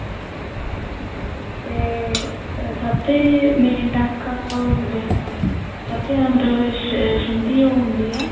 ਤੇ ਅਹ ਸਭ ਤੇ main ਟਾਂਕਾ ਉਹੀ ਹੁੰਦੇ ਆ ਸਭ ਤੇ ਜਿਆਦਾ ਮਤਲਬ ਸ਼ਿੰਦੀ ਓ ਹੁੰਦੀ ਏ